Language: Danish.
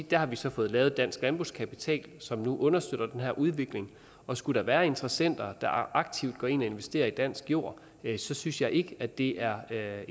der har vi så fået lavet dansk landbrugskapital som nu understøtter den her udvikling og skulle der være interessenter der aktivt går ind og investerer i dansk jord så synes jeg ikke at det er er